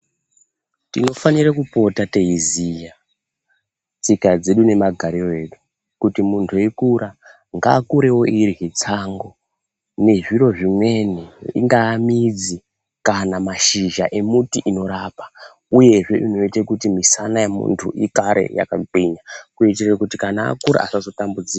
Tinofanire kupota teiziya tsika dzedu nemagarire edu kuti muntu eikura ngaakurewo eirya tsangu nezviro zvimweni ingaa midzi kana mashizha emuti inorapa uyezve inoite kuti misana yemuntu igare yakagwinya kuti kana akura asazotambudzika.